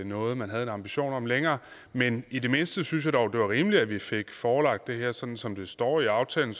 noget man havde en ambition om længere men i det mindste synes jeg dog det var rimeligt at vi fik forelagt det her sådan som det står i aftalen